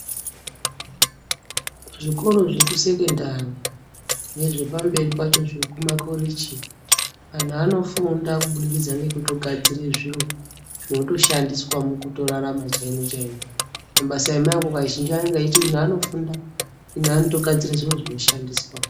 Zvikoro zvekusekendari ,nezvepamberi pacho zvekumakhorichi ,anhu anofunda kubudikidza ngekutogadzire zviro zvinotoshandiswa mukutorarama chaimo-chaimo. Mabasa emaoko kazhinji kwacho anonga eiti, ino anofunda, ino anotogadzire zviro zvinoshandiswa.